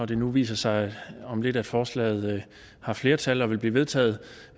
det nu viser sig om lidt at forslaget har flertal og vil blive vedtaget